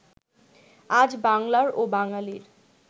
আজ বাঙলার ও বাঙালীর